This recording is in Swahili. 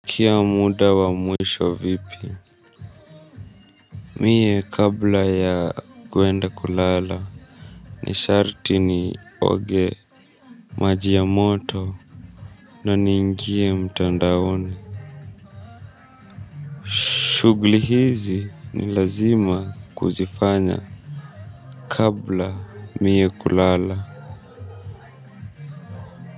Kila muda wa mwisho vipi mie kabla ya kwenda kulala ni sharti ni oge maji ya moto na niingie mtandaoni shughli hizi ni lazima kuzifanya kabla mie kulala.